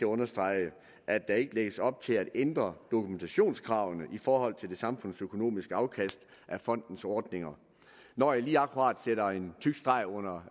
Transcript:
understrege at der ikke lægges op til at ændre dokumentationskravene i forhold til det samfundsøkonomiske afkast af fondens ordninger når jeg lige akkurat sætter en tyk streg under